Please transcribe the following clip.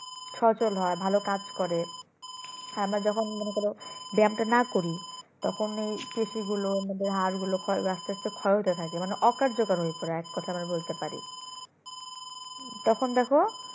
সচল হয় ভালো কাজ করে আমরা যেকোন মনে করো ব্যায়ামটা নাকরি তখন এই পেশি গুলো আমাদের হাড়গুলো ক্ষয় হবে আস্তে আস্তে ক্ষয় হতে থাকে মানে অকার্যকর হয়ে পরে এক কথায় আমরা বলতে পারি তখন দেখো